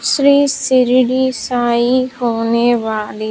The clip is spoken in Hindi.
श्री शिर्डी साईं होने वाली--